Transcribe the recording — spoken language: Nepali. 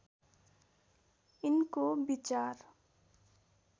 यिनको विचार